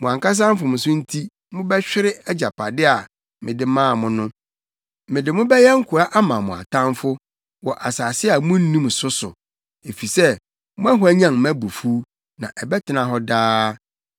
Mo ankasa mfomso nti mobɛhwere agyapade + 17.4 agyapade—Kanaan asase. a mede maa mo no. Mede mo bɛyɛ nkoa ama mo atamfo wɔ asase a munnim so so, efisɛ moahwanyan mʼabufuw, na ɛbɛtena hɔ daa.”